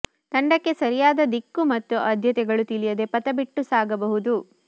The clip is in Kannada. ತಂಡಕ್ಕೆ ಸರಿಯಾದ ದಿಕ್ಕು ಮತ್ತು ಆದ್ಯತೆಗಳು ತಿಳಿಯದೆ ಪಥ ಬಿಟ್ಟು ಸಾಗಬಹುದು